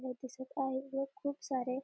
व दिसत आहेत व खूप सारे--